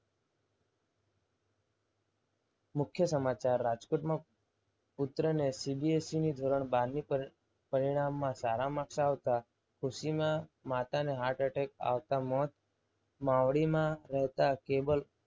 મુખ્ય સમાચાર રાજકોટમાં પુત્રની CBSE ધોરણ બાર ની પરીક્ષા ના પરિણામમાં સારા marks આવતા ખુશીમાં માતાને હાર્ટ અટેક આવતા મોત. માવડીમાં રહેતા કેવલ